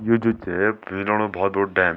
ये जू छ भोत बड़ु डैम ।